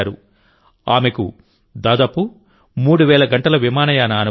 ఆమెకు దాదాపు మూడు వేల గంటల విమానయాన అనుభవం ఉంది